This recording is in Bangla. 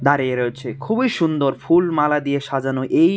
দাঁড়িয়ে রয়েছে খুবই সুন্দর ফুল মালা দিয়ে সাজানো এই--